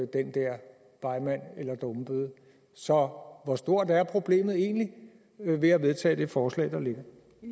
den der begmand eller dummebøde så hvor stort er problemet egentlig ved at vedtage det forslag der ligger